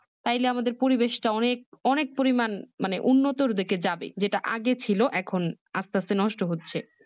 তাইলে আমাদের পরিবেশটা অনেক অনেক পরিমান মানে উন্নতির দিকে যাবে যেটা আগে ছিল এখন আস্তে আস্তে নষ্ট হচ্ছে